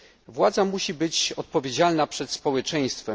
Władza musi być odpowiedzialna przed społeczeństwem.